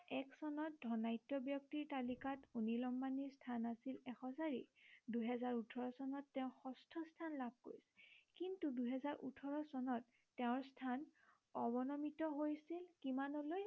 এক চনত ধৰ্নাঢ্য় ব্য়ক্তিৰ তালিকাত অনিল আম্বানীৰ স্থান আছিল এশ চাৰি দুহেজাৰ ওঠৰ চনত তেওঁ ষষ্ঠ স্থান লাভ কৰে । কিন্তু দুহেজাৰ ওঠৰ চনত তেওঁৰ স্থান অৱনমিত হৈছিল কিমানলৈ